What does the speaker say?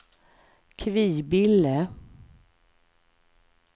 Kvibille